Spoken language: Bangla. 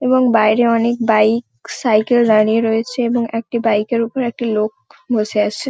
এবং বাইরে অনেক বাইক সাইকেল দাঁড়িয়ে রয়েছে এবং একটি বাইকের ওপর একটি লোক বসে আছে।